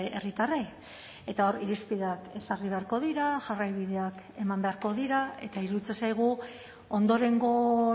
herritarrei eta hor irizpideak ezarri beharko dira jarraibideak eman beharko dira eta iruditzen zaigu ondorengo